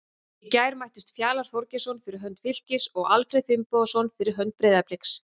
Í gær mættust Fjalar Þorgeirsson fyrir hönd Fylkis og Alfreð Finnbogason fyrir hönd Breiðabliks.